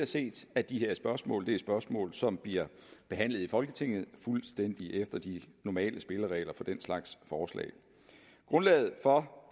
set at de her spørgsmål er spørgsmål som bliver behandlet i folketinget fuldstændig efter de normale spilleregler for den slags forslag grundlaget for